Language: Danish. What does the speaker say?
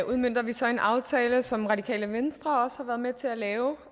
udmønter vi så en aftale som radikale venstre også har været med til at lave